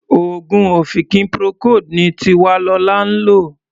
Oògùn ọ̀fìnkì Procold ni Tiwalolá ń lò.